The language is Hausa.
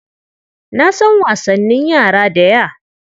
Na san wasanin yara daya.